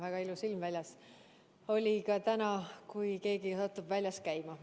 Väga ilus ilm on täna väljas, kui keegi satub väljas käima.